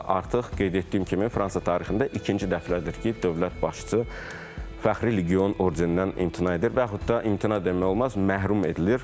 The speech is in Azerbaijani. Artıq qeyd etdiyim kimi, Fransa tarixində ikinci dəfədir ki, dövlət başçısı fəxri legion ordenindən imtina edir və yaxud da imtina demək olmaz, məhrum edilir.